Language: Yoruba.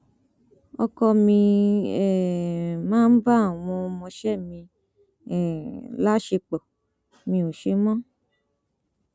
ọkọ mi um máa ń bá àwọn ọmọọṣẹ mi um láṣepọ mi ò ṣe mọ